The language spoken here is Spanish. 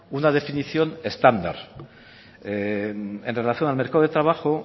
una definición estándar en relación al mercado de trabajo